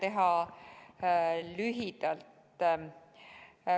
Püüan teha lühidalt.